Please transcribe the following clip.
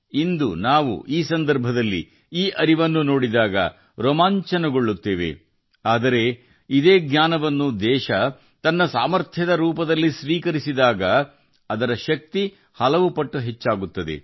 ಇಂದಿನ ಸಂದರ್ಭದಲ್ಲಿ ನಮ್ಮ ಹಿಂದಿನವರ ಜ್ಞಾನವನ್ನು ನೋಡಿದಾಗ ನಾವು ರೋಮಾಂಚನಗೊಳ್ಳುತ್ತೇವೆ ಆದರೆ ರಾಷ್ಟ್ರವು ಈ ಜ್ಞಾನವನ್ನು ತನ್ನ ಶಕ್ತಿಯಾಗಿ ಸ್ವೀಕರಿಸಿದಾಗ ಅವರ ಶಕ್ತಿಯು ಹಲವಾರು ಪಟ್ಟು ಹೆಚ್ಚಾಗುತ್ತದೆ